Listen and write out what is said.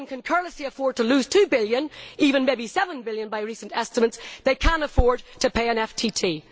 Morgan can carelessly afford to lose EUR 2 billion even maybe EUR 7 billion by recent estimates they can afford to pay an FTT.